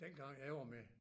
Dengang jeg var med